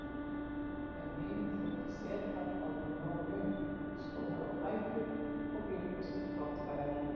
Þeim hinum þótti setan orðin nógu löng, stóðu á fætur og bjuggust til brottferðar.